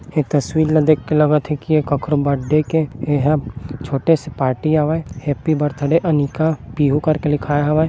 ये तस्वीर ल देख के लगत हे की ये कखोरो बड्डे के एह छोटे से पार्टी आवय हैप्पी बर्थडे अनिका पीहू करके लिखाय हावय।